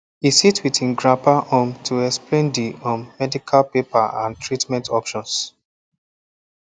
e sit with him grandpapa um to explain the um medical paper and treatment options